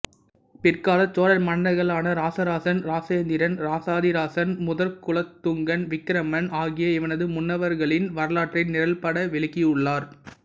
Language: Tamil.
பிற்காலச் சோழ மன்னர்களான இராசராசன் இராசேந்திரன் இராசாதிராசன் முதற்குலோத்துஙகன் விக்கிரமன் ஆகிய இவனது முன்னவர்களின் வரலாற்றை நிரல்பட விளக்கியுள்ளார்